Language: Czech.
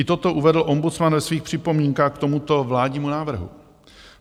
I toto uvedl ombudsman ve svých připomínkách k tomuto vládnímu návrhu.